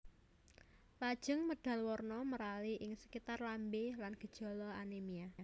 Lajeng medal warna merali ing sekitar lambé lan gejala anémia